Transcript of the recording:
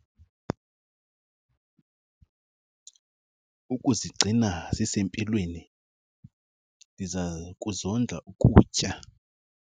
Ukuzigcina zisempilweni ndiza kuzondla ukutya.